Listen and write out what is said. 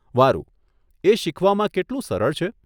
વારુ, એ શીખવામાં કેટલું સરળ છે?